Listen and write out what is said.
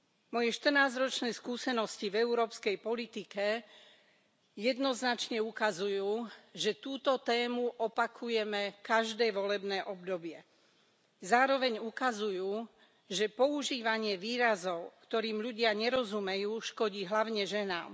Moje štrnásťročné skúsenosti v európskej politike jednoznačne ukazujú, že túto tému opakujeme každé volebné obdobie, zároveň ukazujú, že používanie výrazov, ktorým ľudia nerozumejú škodí hlavne ženám.